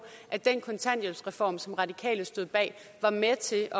at den kontanthjælpsreform som radikale stod bag var med til